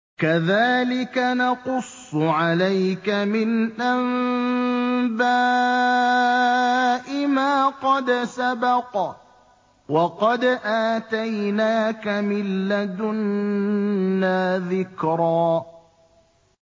كَذَٰلِكَ نَقُصُّ عَلَيْكَ مِنْ أَنبَاءِ مَا قَدْ سَبَقَ ۚ وَقَدْ آتَيْنَاكَ مِن لَّدُنَّا ذِكْرًا